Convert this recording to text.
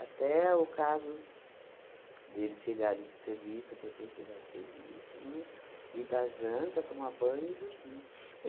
Até o caso deles chegarem do serviço, minha mãe chegar do serviço, não é? E dar janta, tomar banho e dormir.